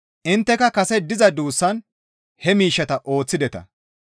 Intteka kase diza duussaan he miishshata ooththideta.